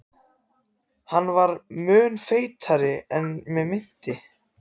Hann var mun feitari en mig minnti.